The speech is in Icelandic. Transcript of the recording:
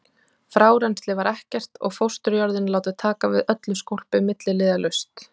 Frárennsli var ekkert og fósturjörðin látin taka við öllu skólpi milliliðalaust.